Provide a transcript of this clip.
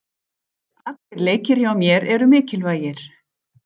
Allir leikir hjá mér eru mikilvægir.